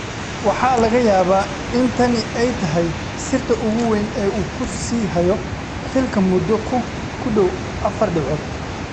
Waxaa laga yaabaa in tani ay tahay sirta ugu weyn ee uu ku sii hayo xilka muddo ku dhow afar dhibcood.